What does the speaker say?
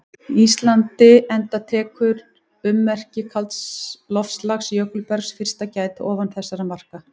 Íslandi enda tekur ummerkja kalds loftslags- jökulbergs- fyrst að gæta ofan þessara marka.